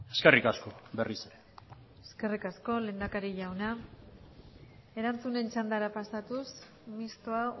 eskerrik asko berriz ere eskerrik asko lehendakari jauna erantzunen txandara pasatuz mistoa